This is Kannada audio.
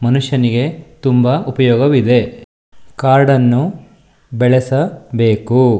ಮನುಷ್ಯನಿಗೆ ತುಂಬಾ ಉಪಯೋಗವಿದೆ. ಕಾಡನ್ನು ಬೆಳೆಸಬೇಕು.